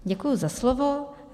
Děkuji za slovo.